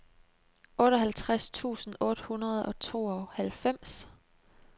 otteoghalvtreds tusind otte hundrede og tooghalvfems